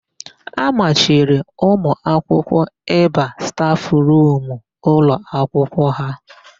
A machiri ụmụakwụkwọ ịba stafụrumu ụlọakwụkwọ áhụ̀.